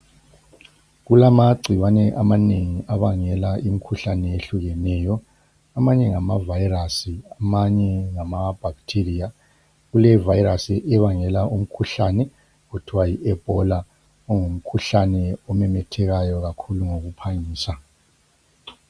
Kulamagcikwane amanengi abangela imkhuhlane ehlukeneyo. Amanye ngama virus amanye ngama bacteria. Kule virus ebangela umkhuhlane othwa yi Ebola okungumkhuhlane omemethekayo kakhulu ngokuphangisa.